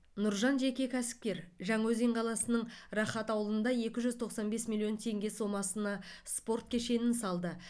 нұржан жеке кәсіпкер жаңаөзен қаласының рахат ауылында екі жүз тоқсан бес миллион теңге сомасына спорт кешенін салды